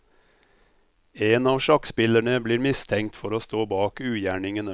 En av sjakkspillerne blir mistenkt for å stå bak ugjerningene.